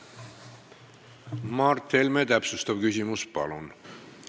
Mart Helme, täpsustav küsimus, palun!